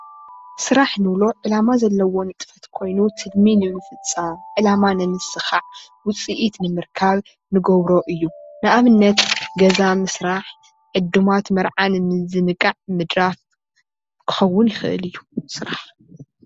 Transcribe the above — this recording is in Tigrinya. ስራሕ እንብሎ ዕላማ ዘለዎ ንጥፈት ኾይኑ ትልሚ ንምፍፃም ዕላማ ንምስኻዕ ውፅኢት ንምርካብ እንገብሮ እዩ። ንኣብነት ገዛ ምስራሕ፣ ዕዱማት መርዓ ምዝንጋዕ ምድራፍ ክኾን ይኽእል እዩ ስራሕ።